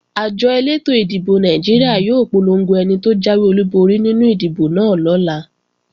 Àjọ elétò ìdìbò Nàìjíríà yóò polongo ẹni tó jáwé olúborí nínú ìdìbò náà lọ́la